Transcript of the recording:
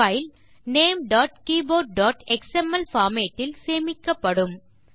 file ltnamegtkeyboardஎக்ஸ்எம்எல் format இல் சேமிக்கப்படும்